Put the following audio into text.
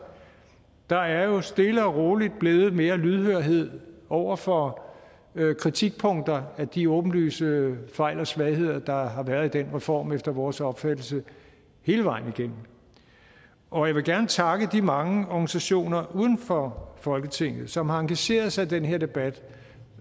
der er jo stille og roligt blevet mere lydhørhed over for kritikpunkter af de åbenlyse fejl og svagheder der har været i den reform efter vores opfattelse hele vejen igennem og jeg vil gerne takke de mange organisationer uden for folketinget som har engageret sig i den her debat